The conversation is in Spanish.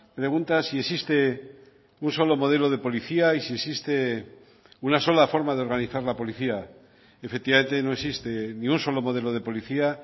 pregunta si existe un solo modelo de policía y si existe una sola forma de organizar la policía efectivamente no existe ni un solo modelo de policía